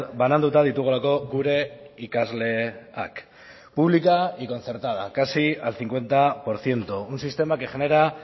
bananduta ditugulako gure ikasleak pública y concertada casi al cincuenta por ciento un sistema que genera